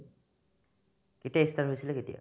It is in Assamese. কেতিয়া ই start হৈছিলে কেতিয়া ?